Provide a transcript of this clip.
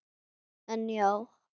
En já.